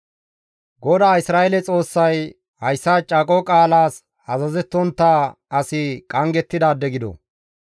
GODAA Isra7eele Xoossay, ‹Hayssa caaqo qaalas azazettontta asi qanggettidaade gido.